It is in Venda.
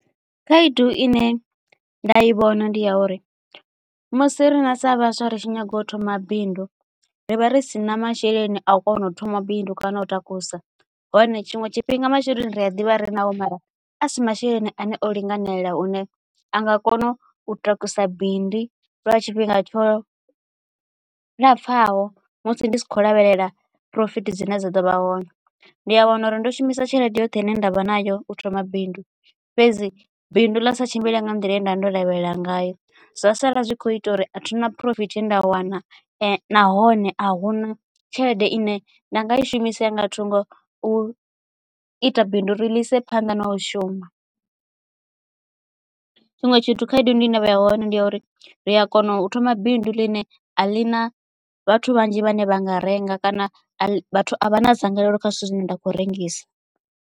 Khaedu ine nda i vhona ndi ya uri musi riṋe sa vhaswa ritshi nyaga u thoma bindu ri vha ri si na masheleni a u kona u thoma bindu kana u takusa hone tshiṅwe tshifhinga masheleni ri a ḓivha ri naho a si masheleni ane o linganela hune a nga kona u takusa bindu lwa tshifhinga tsho lapfhaho musi ndi si kho lavhelela phurofithi dzine dza ḓo vha hone. Ndi a wana uri ndo shumisa tshelede yoṱhe ine ndavha nayo u thoma bindu fhedzi bindu ḽa sa tshimbile nga nḓila ye nda ndo lavhelela ngayo zwa sala zwi kho ita uri athina phurofiti ye nda wana nahone a huna tshelede ine nda nga i shumisa ya nga thungo u ita bindu uri lise phanḓa na u shuma tshiṅwe tshithu khaedu ndi ine vha ya hone ndi ya uri ri a kona u thoma bindu ḽine a ḽi na vhathu vhanzhi vhane vha nga renga kana vhathu a vha na dzangalelo kha zwithu zwine nda kho rengisa.